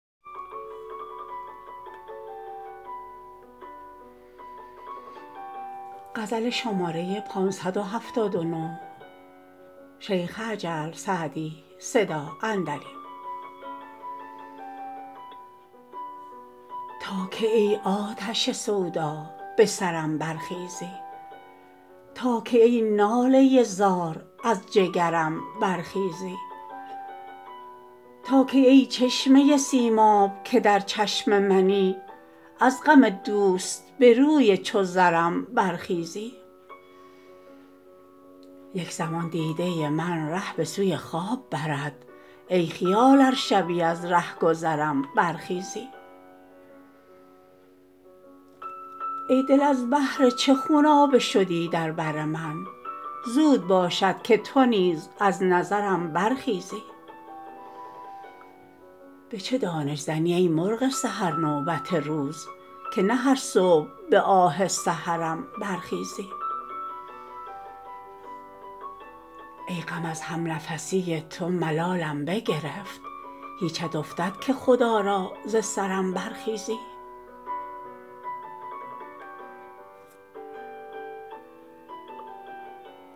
تا کی ای آتش سودا به سرم برخیزی تا کی ای ناله زار از جگرم برخیزی تا کی ای چشمه سیماب که در چشم منی از غم دوست به روی چو زرم برخیزی یک زمان دیده من ره به سوی خواب برد ای خیال ار شبی از رهگذرم برخیزی ای دل از بهر چه خونابه شدی در بر من زود باشد که تو نیز از نظرم برخیزی به چه دانش زنی ای مرغ سحر نوبت روز که نه هر صبح به آه سحرم برخیزی ای غم از همنفسی تو ملالم بگرفت هیچت افتد که خدا را ز سرم برخیزی